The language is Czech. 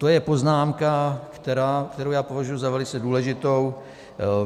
To je poznámka, kterou já považuju za velice důležitou.